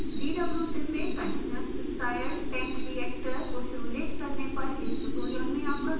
dwsim में continuous stirred tank reactor cstr को simulate करने पर इस tutorial में आपका स्वागत है